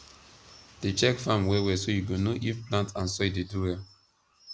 dey check farm well well so you go know if plant and soil dey do well